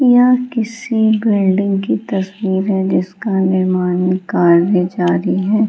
यह किसी बिल्डिंग की तस्वीर है जिसका निर्माण कार्य जारी है।